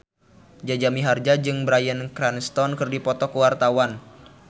Jaja Mihardja jeung Bryan Cranston keur dipoto ku wartawan